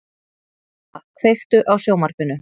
Gróa, kveiktu á sjónvarpinu.